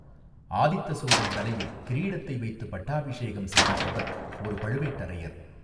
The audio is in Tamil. ஆதித்த சோழன் தலையில் கிரீடத்தை வைத்துப் பட்டாபிஷேகம் செய்தித்தவர் ஒரு பழுவேட்டரையர்.